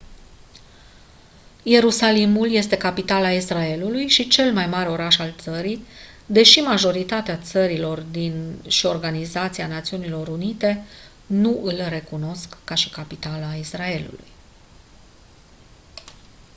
ierusalimul este capitala israelului și cel mai mare oraș al țării deși majoritatea țărilor și organizația națiunilor unite nu îl recunosc ca și capitală a israelului